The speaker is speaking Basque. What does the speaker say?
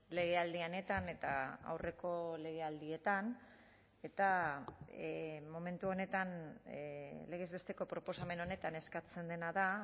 legealdi honetan eta aurreko legealdietan eta momentu honetan legez besteko proposamen honetan eskatzen dena da